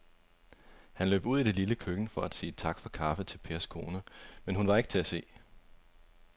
Han løb ud i det lille køkken for at sige tak for kaffe til Pers kone, men hun var ikke til at se.